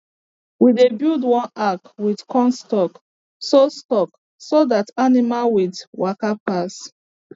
we dey build one arch with corn stalk so stalk so that animals with waka pass